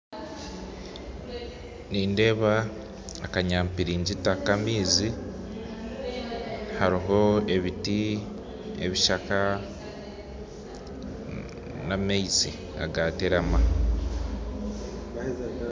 Nindeeba akanyampiringyita ka amaizi haroho ebiti ebishaka na amaizi agaterama